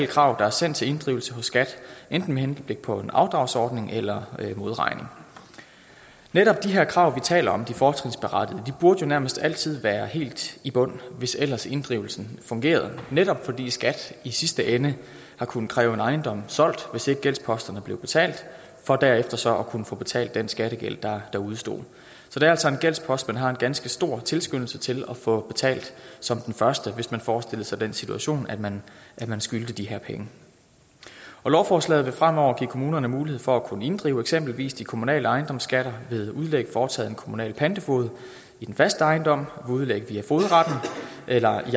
krav der er sendt til inddrivelse hos skat enten med henblik på en afdragsordning eller modregning netop de her krav vi taler om de fortrinsberettigede burde jo nærmest altid være helt i bund hvis ellers inddrivelsen fungerede netop fordi skat i sidste ende har kunnet kræve en ejendom solgt hvis ikke gældsposterne blev betalt for derefter så at kunne få betalt den skattegæld der der udestod så det er altså en gældspost man har en ganske stor tilskyndelse til at få betalt som den første hvis man forestillede sig den situation at man man skyldte de her penge lovforslaget vil fremover give kommunerne mulighed for at kunne inddrive eksempelvis de kommunale ejendomsskatter ved udlæg foretaget af en kommunal pantefoged i den faste ejendom ved udlæg via fogedretten eller i